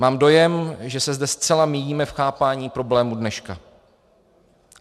Mám dojem, že se zde zcela míjíme v chápání problémů dneška.